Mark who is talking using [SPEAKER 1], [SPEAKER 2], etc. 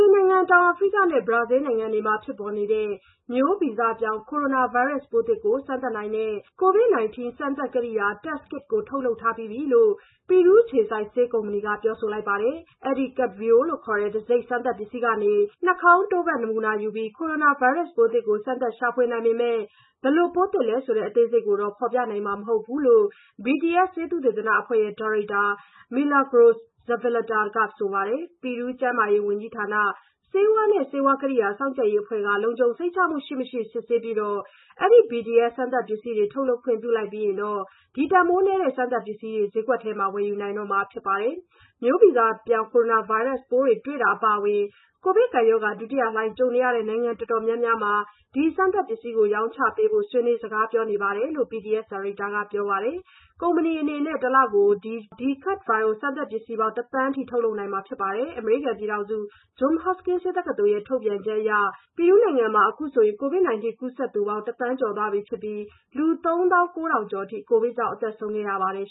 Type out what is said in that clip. [SPEAKER 1] န်နိုင်ငံ၊ တောင်အာဖရိကနဲ့ ဘရာဇီးလ်နိုင်ငံတွေမှာ ဖြစ်ပေါ်နေတဲ့ မျိုးဗီဇပြောင်းကိုရိုနာဗိုင်းရပ်စ်ပိုးသစ်ကို စမ်းသပ်နိုင်တဲ့ COVID 19 စမ်းသပ်ကိရိယာ Test kit ထုတ်လုပ်ထားပြီလို့ ပီရူးအခြေစိုက်ဆေး ကုမ္ပဏီက ပြောလိုက်ပါတယ်။ အဲဒီ “CavBio” တံဆိပ် စမ်းသပ်ပစ္စည်းကနေ နှာခေါင်းတို့ဖတ် နမူနာယူပြီး ကိုရိုနာဗိုင်းရပ်စ်ပိုးသစ်ကို စမ်းသပ်ရှာဖွေနိုင်ပေမဲ့ ဘယ်လိုပိုးသစ်လဲဆိုတဲ့ အသေးစိတ်ကိုတော့ ဖော်ပြနိုင်မှာ မဟုတ်ဘူးလို့ BTS Consultores Research ဆေးသုတေသနအဖွဲ့ရဲ့ဒါရိုက်တာ Milagros Zavaleta က ဆိုပါတယ်။ ပီရူးကျန်းမာရေးဝန်ကြီးဌာန (Digemid) ဆေးဝါးနဲ့ ဆေးဝါး ကိရိယာစောင့်ကြပ်ရေးအဖွဲ့ကနေလုံခြုံစိတ်ချမှုရှိ၊ မရှိ စစ်ဆေးပြီး အဲဒီ BTC စမ်းသပ်ပစ္စည်းတွေ ထုတ်လုပ်ခွင့်ပြုလိုက်ပြီးရင်တော့ တန်ဖိုးနည်း ဒီစမ်းသပ်ပစ္စည်းတွေ ဈေးကွက်ထဲ ဝယ်ယူနိုင်တော့မှာဖြစ်ပါတယ်။ မျိုးဗီဇပြောင်းပိုးတွေ့တာအပါအဝင် ကိုဗစ်ကပ်ရောဂါ ဒုတိယလှိုင်းကြုံနေရတဲ့ နိုင်ငံတော်တော်များများမှာ ဒီစမ်းသပ်ပစ္စည်းရောင်းချပေးနိုင်ဖို့ ဆွေးနွေးစကားပြောတာတွေ ရှိနေပြီလို့ BTS ဒါရိုက်တာကပြောပါတယ်။ ကုမ္ပဏီအနေနဲ့ တလကို ဒီ CavBio စမ်းသပ်ပစ္စည်းပေါင်း ၁,၀၀၀,၀၀၀ အထိ ထုတ်လုပ်နိုင်မှာဖြစ်ပါတယ်။ အမေရိကန်ပြည်ထောင်စု Johns Hopkins University Covid Resource Center ရဲ့ ထုတ်ပြန်ချက်အရ ပီရူးနိုင်ငံမှာ အခုဆိုရင် ကိုဗစ် ၁၉ ကူးစက်သူပေါင်းက ၁,၀၀၀,၀၀၀ ကျော်သွားပြီဖြစ်ပြီး လူ ၃၉,၀၀၀ ကျော်အထိ ကိုဗစ်ကြောင့် အသက်ဆုံးရှုံးခဲ့ရပါတယ်